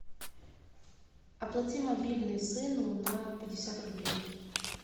оплати мобильный сыну на пятьдесят рублей